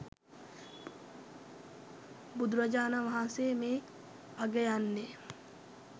බුදුරජාණන් වහන්සේ මේ අගයන්නේ